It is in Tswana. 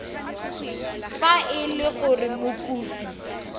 fa e le gore mokopi